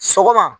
Sɔgɔma